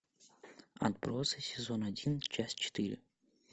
отбросы сезон один часть четыре